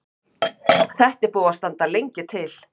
Þetta er búið að standa lengi til.